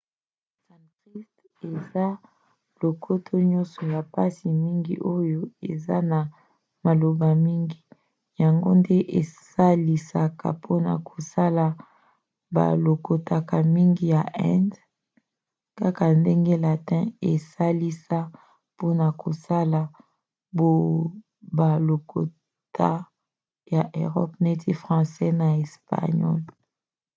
sanskrit eza lokota moko ya mpasi mingi oyo eza na maloba mingi yango nde esalisaka mpona kosala balokota mingi ya inde ya lelo kaka ndenge latin esalisa mpona kosala balokota ya erope neti francais pe espagnole